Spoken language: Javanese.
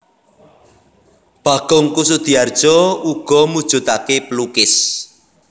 Bagong Kussudiardja uga mujudake pelukis